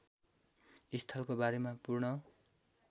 स्थलको बारेमा पूर्ण